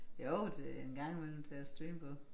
Jo til en gang i mellem til at streame på